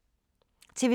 TV 2